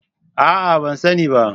A'a! Ban sani ba.